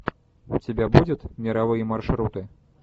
у тебя будет мировые маршруты